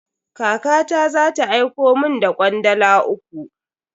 Kakata za ta aiko mun da kwandala uku.